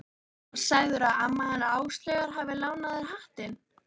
Og sagðirðu að amma hennar Áslaugar hafi lánað þér hattinn?